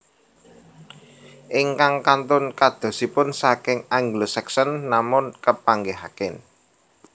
Ingkang kantun kadosipun saking Anglo Saxon sampun kapanggihaken